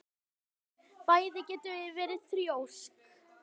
Bæði getum við verið þrjósk.